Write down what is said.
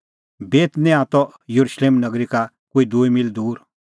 बेतनियाह त येरुशलेम नगरी का कोई दूई मील दूर